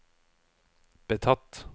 betatt